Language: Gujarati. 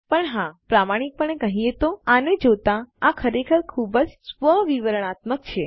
પણ હા પ્રામાણિકપણે કહીએ તો આને જોતા આ ખરેખર ખૂબ જ સ્વ વિવરણાત્મક છે